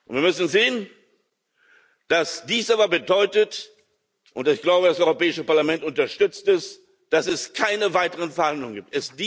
Wir müssen sehen, dass dies aber bedeutet und ich glaube, das Europäische Parlament unterstützt das dass es keine weiteren Verhandlungen gibt.